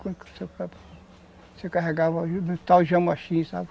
Você carregava no tal jamaxim, sabe?